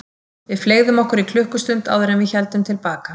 Við fleygðum okkur í klukkustund áður en við héldum til baka.